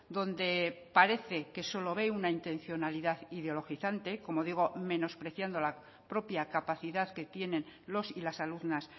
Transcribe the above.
donde parece que solo ve una intencionalidad ideologizante como digo menospreciando la propia capacidad que tienen los y las alumnas